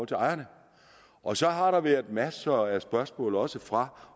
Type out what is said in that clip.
til ejerne og så har der været masser af spørgsmål også fra